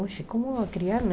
Oxe, como criar, né?